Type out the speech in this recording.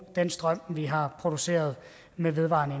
den strøm vi har produceret med vedvarende